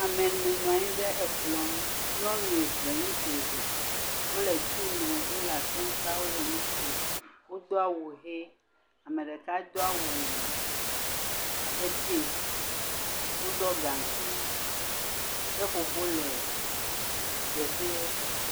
Ame ene nɔ anyi ɖe ekplɔ̃ ŋu. Nyɔnu eve, ŋutsu eve. Wole tii nom. Wole asem ka wole nu kom. Wodo awu ʋe. Ame ɖeka do awuuu abe piŋki. Woɖɔ gaŋkui. Seƒoƒo le teƒeɛ.